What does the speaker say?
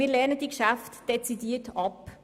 Wir lehnen diese Geschäfte dezidiert ab.